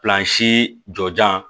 Plansi jɔ